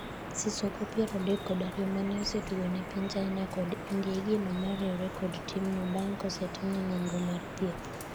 sisoko ,piero adek kod ariyo, mane osetugo ne piny china kod India igeno mar riwre kod timno bang' kosetimne nonro mar thieth